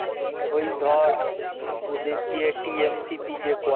ওই দেখ ওদের যে TMCP যে করে